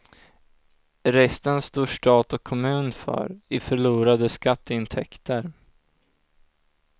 Resten står stat och kommun för, i förlorade skatteintäkter.